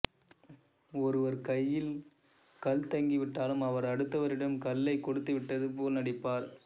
ஒருவர் கையில் கல் தங்கிவிட்டாலும் அவர் அடுத்தவரிடம் கல்லைக் கொடுத்துவிட்டது போல் நடிப்பார்